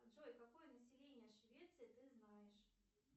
джой какое население швеции ты знаешь